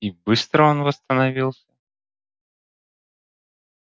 и быстро он восстановился